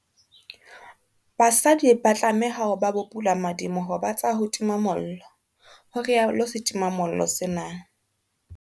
Basadi ba tlameha ho ba bopulamadiboho ba tsa ho tima mollo, ho rialo setimamollo sena.